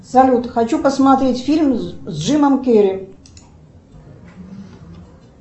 салют хочу посмотреть фильм с джимом керри